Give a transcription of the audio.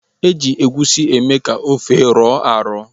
E ji egusi eme ka ofe rọọ arọ.